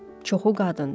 Çoxu qadındır.